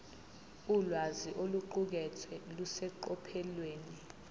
ulwazi oluqukethwe luseqophelweni